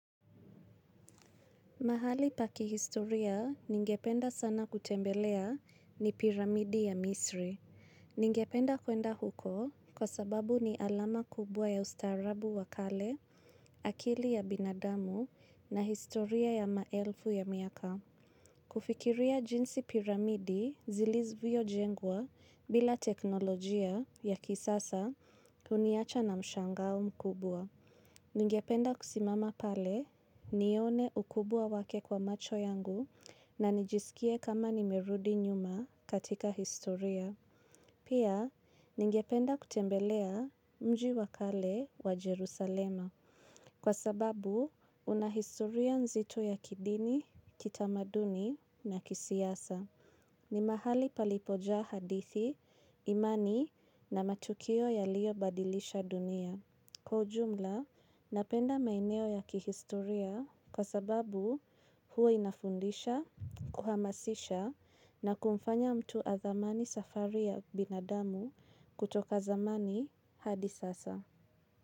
Mahali pakihistoria ningependa sana kutembelea ni piramidi ya Misri. Ningependa kwenda huko kwa sababu ni alama kubwa ya ustaarabu wakale, akili ya binadamu na historia ya maelfu ya miaka. Kufikiria jinsi piramidi zilizvyo jengwa bila teknolojia ya kisasa uniacha na mshangao mkubwa. Ningependa kusimama pale nione ukubwa wake kwa macho yangu na nijiskie kama nimerudi nyuma katika historia. Pia, ningependa kutembelea mji wakale wa Jerusalema kwa sababu unahistoria nzito ya kidini, kitamaduni na kisiasa. Ni mahali palipojaa hadithi, imani na matukio ya liyo badilisha dunia. Napenda maeneo ya kihistoria kwa sababu huwa inafundisha kuhamasisha na kumfanya mtu athamani safari ya binadamu kutoka zamani hadi sasa.